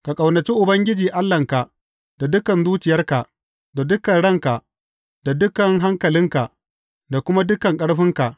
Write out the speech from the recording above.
Ka ƙaunaci Ubangiji Allahnka da dukan zuciyarka, da dukan ranka, da dukan hankalinka, da kuma dukan ƙarfinka.’